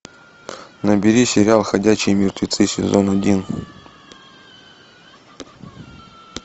набери сериал ходячие мертвецы сезон один